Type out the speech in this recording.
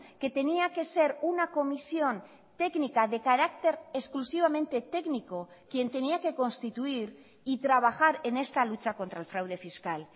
que tenía que ser una comisión técnica de carácter exclusivamente técnico quien tenía que constituir y trabajar en esta lucha contra el fraude fiscal